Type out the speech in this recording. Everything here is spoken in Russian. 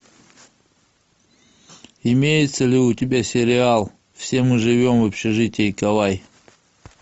имеется ли у тебя сериал все мы живем в общежитии кавай